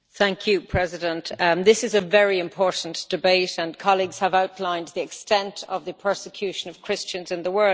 Mr President, this is a very important debate, and colleagues have outlined the extent of the persecution of Christians in the world.